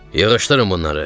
Yığışdırın bunları.